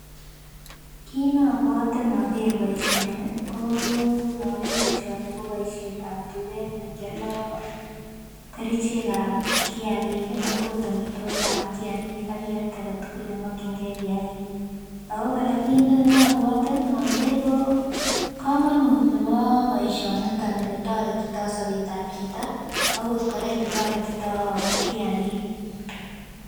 Kit nobwote ndoker boishoni koo noker boishoni ko boishetab tuket nekioldo kerichek ab kiyakik ak okot omitwokikab kiyakik ak kiyat agetukul nemokingee kiyakik okoraa kit nobwote noker ko komonut nebo boishoniton oletoretito boishetab chito akot Koraa oletoretito kiyakik.